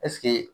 Ɛseke